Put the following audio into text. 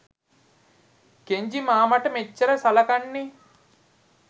Kenji මාමට මෙච්චර සලකන්නේ.